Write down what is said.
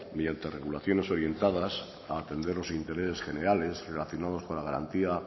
mediante regulaciones orientadas a atender los intereses generales relacionados con la garantía